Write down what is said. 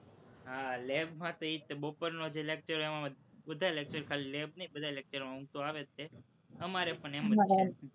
હા, lab માં તો એ જ તે, બપોરનો જે lecture હોય તેમાં બધાય lecture ખાલી lab નહિ બધાય lecture માં ઊંઘ તો આવે જ તે, અમારે પણ એમ જ છે.